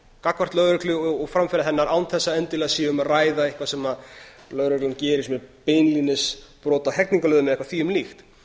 gagnvart lögreglu og framferði hennar án þess að endilega sé um að ræða eitthvað sem lögreglan gerir með beinlínis brot á hegningarlögum eða eitthvað þvíumlíkt